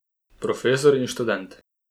Profesor in študent.